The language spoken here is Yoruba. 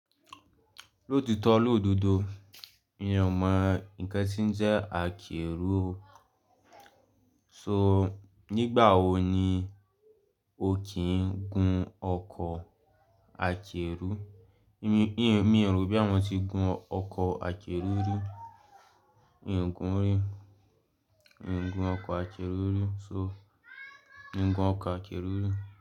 Lòtiitó lòdodo, eeyan ó mọ ǹnkan tí ń jẹ́ àkérú. So nígbà wo ni o kì ń gun ọkọ̀ àkérú? Mi rò bòyà mo tí gun ọkọ̀ àkérú rí, ìgún rí, ìgún ọkọ̀ àkérú rí so ìgún ọkọ̀ àkérú rí.